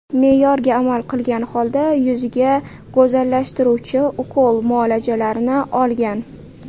Me’yorga amal qilgan holda yuziga go‘zallashtiruvchi ukol muolajalarini olgan.